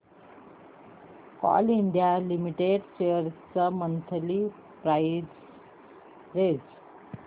Coal India Limited shares ची monthly price range